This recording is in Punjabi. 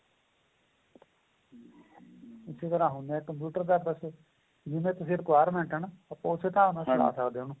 ਇੱਕ ਤਰ੍ਹਾਂ ਹੁੰਦਾ computer ਜਿਵੇ ਤੁਸੀਂ requirement ਆਂ ਨਾ ਆਪਾਂ ਉਸੇ ਹਿਸਾਬ ਨਾਲ ਚਲਾ ਸਕਦੇ ਹਾਂ ਉਹਨੂੰ